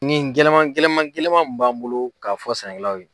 Nin gɛlɛma gɛlɛma gɛlɛma min b'an bolo k'a fɔ sɛnɛkɛlaw ye.